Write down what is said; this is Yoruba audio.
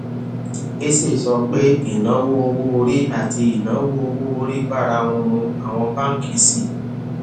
eze sọ pé ìnáwó owó orí àti ìnáwó owó orí bára wọn mu àwọn báńkì sì